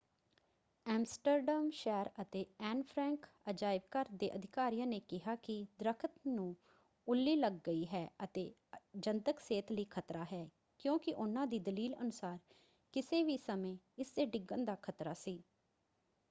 Amsterdam ਸ਼ਹਿਰ ਅਤੇ Anne Frank ਅਜਾਇਬਘਰ ਦੇ ਅਧਿਕਾਰੀਆਂ ਨੇ ਕਿਹਾ ਕਿ ਦਰੱਖਤ ਨੂੰ ਉੱਲੀ ਲੱਗ ਗਈ ਹੈ ਅਤੇ ਜਨਤਕ ਸਿਹਤ ਲਈ ਖ਼ਤਰਾ ਹੈ ਕਿਉਂਕਿ ਉਨ੍ਹਾਂ ਦੀ ਦਲੀਲ ਅਨੁਸਾਰ ਕਿਸੇ ਵੀ ਸਮੇਂ ਇਸਦੇ ਡਿੱਗਣ ਦਾ ਖ਼ਤਰਾ ਸੀ।